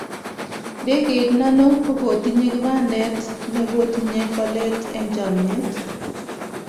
Ndegeit nano kokotinye kibandet nekotinye polet eng chamiet.